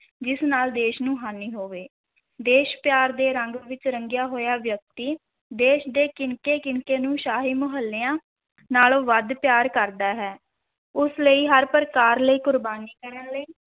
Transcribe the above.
ਜਿਸ ਨਾਲ ਦੇਸ਼ ਨੂੰ ਹਾਨੀ ਹੋਵੇ, ਦੇਸ਼ ਪਿਆਰ ਦੇ ਰੰਗ ਵਿੱਚ ਰੰਗਿਆ ਹੋਇਆ ਵਿਅਕਤੀ ਦੇਸ਼ ਦੇ ਕਿਣਕੇ-ਕਿਣਕੇ ਨੂੰ ਸ਼ਾਹੀ ਮਹੱਲਿਆਂ ਨਾਲੋਂ ਵੱਧ ਪਿਆਰ ਕਰਦਾ ਹੈ, ਉਸ ਲਈ ਹਰ ਪ੍ਰਕਾਰ ਲਈ ਕੁਰਬਾਨੀ ਕਰਨ ਲਈ